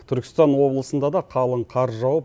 түркістан облысында да қалың қар жауып